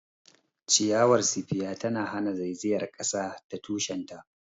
Ciyawar spear tana hana zaizayar kasa ta tushen ta.